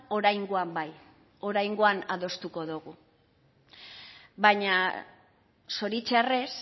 oraingoan bai oraingoan adostuko dugu baina zoritzarrez